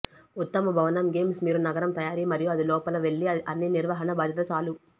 ఉత్తమ భవనం గేమ్స్ మీరు నగరం తయారీ మరియు అది లోపల వెళ్లి అన్ని నిర్వహణ బాధ్యత చాలు